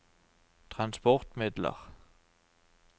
transportmidler